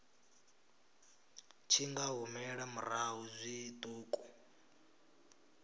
tshi nga humela murahu zwiṱuku